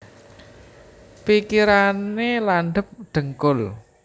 Pikirane landhep dhengkul